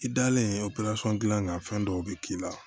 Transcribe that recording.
I dalen dilan fɛn dɔw bɛ k'i la